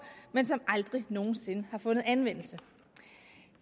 men som aldrig nogen sinde har fundet anvendelse